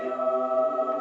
á